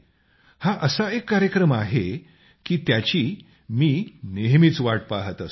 हा एक असा कार्यक्रम आहे की त्याची मी नेहमीच वाट पाहत असतो